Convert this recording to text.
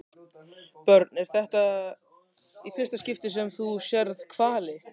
Björn: Er þetta í fyrsta skipti sem þú sérð hvali?